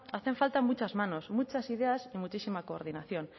hacen falta muchas manos muchas ideas y muchísima coordinación